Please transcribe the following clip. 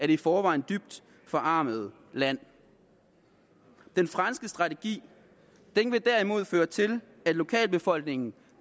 i forvejen dybt forarmede land den franske strategi vil derimod føre til at lokalbefolkningen